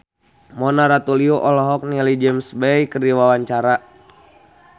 Mona Ratuliu olohok ningali James Bay keur diwawancara